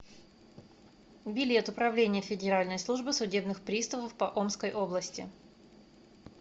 билет управление федеральной службы судебных приставов по омской области